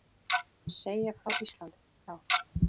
Segja frá Íslandi, já.